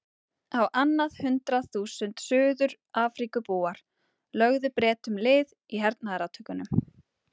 Á annað hundrað þúsund Suður-Afríkubúar lögðu Bretum lið í hernaðarátökum.